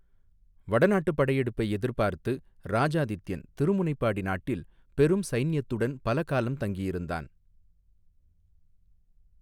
வடநாட்டுப் படையெடுப்பை எதிர்பார்த்து இராஜாதித்யன் திருமுனைப்பாடி நாட்டில் பெரும் சைன்யத்துடன் பல காலம் தங்கியிருந்தான்.